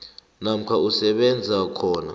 namkha usebenza khona